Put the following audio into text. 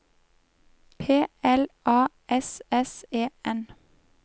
P L A S S E N